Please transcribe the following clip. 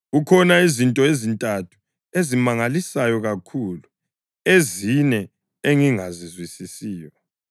Kukhona izinto ezintathu ezingimangalisayo kakhulu, ezine engingazizwisisiyo: